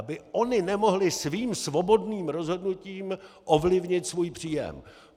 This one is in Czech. Aby ony nemohly svým svobodným rozhodnutím ovlivnit svůj příjem.